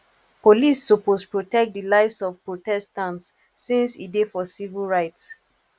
police suppose protect di lives of protestants since e dey for civil rights